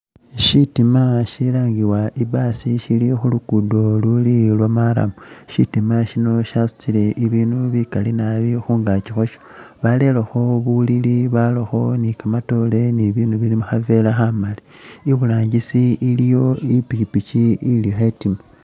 Syitima syilangibwa i'bus sili khu luguudo lwa marram, syitima syino syasutile ibinu bikali nabi khungaaki khwasho. Barelekho bulili, barakho ni kamatoore ni bibindu bili mu khaveera khamali. Iburangisi iliyo i'pikipiki ili khetima.